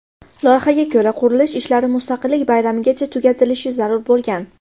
Loyihaga ko‘ra, qurilish ishlari Mustaqillik bayramigacha tugatilishi zarur bo‘lgan.